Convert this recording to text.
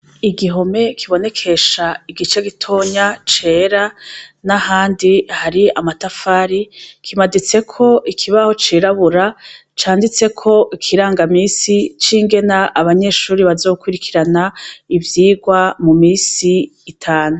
Igihome kibonekesha igice gitonya cera n'ahandi hari amatafari, kimaditseko ikibaho cirabura canditseko ikiranga misi c'ingene abanyeshure bazokurikirana ivyigwa mu misi itanu.